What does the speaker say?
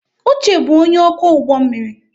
Uche bụ onye ọkwọ ụgbọ mmiri.